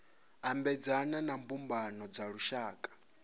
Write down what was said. ambedzana na mbumbano dza lushaka